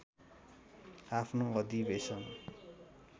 आफ्नो अधिवेशन